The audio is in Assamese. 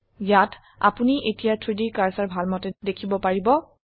ইয়াত আপোনি এতিয়া 3ডি কাৰ্সাৰ ভালমতে দেখিব পাৰিব